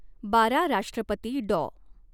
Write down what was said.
बारा राष्ट्रपती ङाॅ.